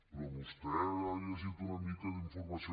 però vostè ha llegit una mica d’informació